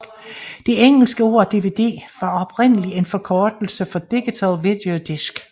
Det engelske ord DVD var oprindeligt en forkortelse for digital video disc